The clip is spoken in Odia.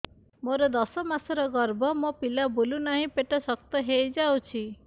ମୋର ଦଶ ମାସର ଗର୍ଭ ମୋ ପିଲା ବୁଲୁ ନାହିଁ ପେଟ ଶକ୍ତ ହେଇଯାଉଛି